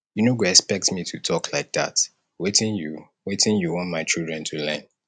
you no go expect me to talk like dat wetin you wetin you want my children to learn